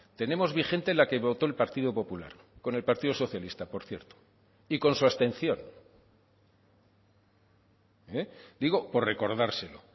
tenemos vigente la que votó el partido popular con el partido socialista por cierto y con su abstención digo por recordárselo